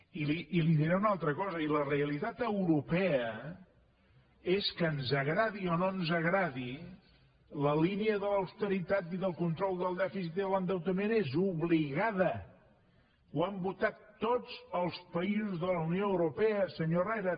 i li diré una altra cosa la realitat europea és que ens agradi o no ens agradi la línia de l’austeritat i del control del dèficit i de l’endeutament és obligada ho han votat tots els països de la unió europea senyor herrera